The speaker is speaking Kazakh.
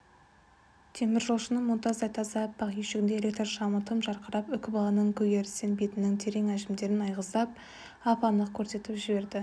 теміржолшының мұнтаздай таза аппақ үйшігінде электр шамы тым жарқырап үкібаланың көгерістенген бетінің терең әжімдерін айғыздап ап-анық көрсетіп жіберді